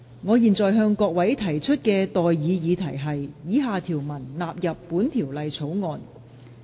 我現在向各位提出的待議議題是：以下條文納入本條例草案。